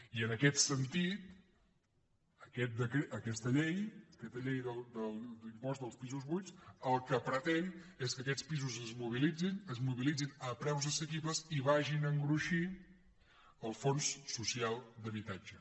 i en aquest sentit aquesta llei de l’impost dels pisos buits el que pretén és que aquests pisos es mobilitzin es mobilitzin a preus assequibles i vagin a engruixir el fons social d’habitatge